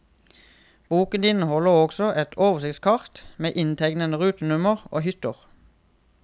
Boken inneholder også et oversiktskart med inntegnede rutenummer og hytter.